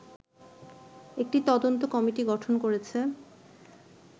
একটি তদন্ত কমিটি গঠন করেছে